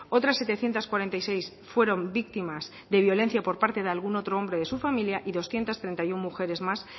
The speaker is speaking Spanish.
otras setecientos cuarenta y seis fueron víctimas de violencia por parte de algún otro hombre de su familia y doscientos treinta y uno mujeres más